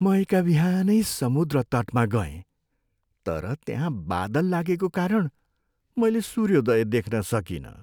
म एकाबिहानै समुद्र तटमा गएँ, तर त्यहाँ बादल लागेको कारण मैले सूर्योदय देख्न सकिनँ।